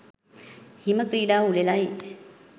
හිම ක්‍රීඩා උළෙලයි.